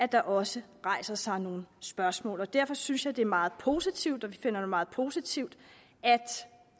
der også rejser sig nogle spørgsmål derfor synes jeg det er meget positivt og vi finder det meget positivt